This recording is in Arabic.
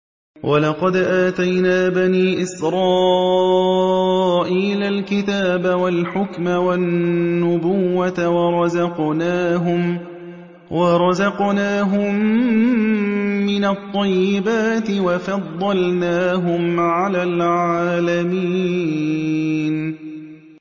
وَلَقَدْ آتَيْنَا بَنِي إِسْرَائِيلَ الْكِتَابَ وَالْحُكْمَ وَالنُّبُوَّةَ وَرَزَقْنَاهُم مِّنَ الطَّيِّبَاتِ وَفَضَّلْنَاهُمْ عَلَى الْعَالَمِينَ